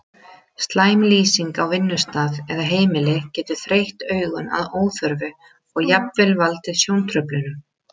Slæm lýsing á vinnustað eða heimili getur þreytt augun að óþörfu og jafnvel valdið sjóntruflunum.